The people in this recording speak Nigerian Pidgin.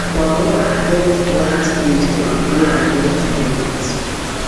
quarong get ninety days to appeal against di verdict